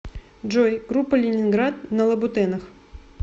джой группа ленинград на лабутенах